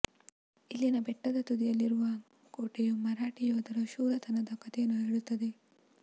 ಇಲ್ಲಿನ ಬೆಟ್ಟದ ತುದಿಯಲ್ಲಿರುವ ಕೋಟೆಯು ಮರಾಠಿ ಯೋಧರ ಶೂರತನದ ಕಥೆಯನ್ನು ಹೇಳುತ್ತದೆ